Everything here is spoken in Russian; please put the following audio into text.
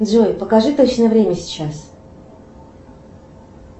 джой покажи точное время сейчас